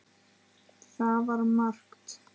Það var margt.